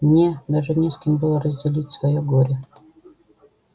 мне даже не с кем было разделить своё горе